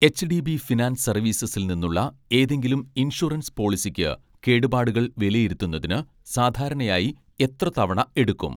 HDB finance സർവീസസിൽ നിന്നുള്ള ഏതെങ്കിലും ഇൻഷുറൻസ് പോളിസിക്ക് കേടുപാടുകൾ വിലയിരുത്തുന്നതിന് സാധാരണയായി എത്ര തവണ എടുക്കും?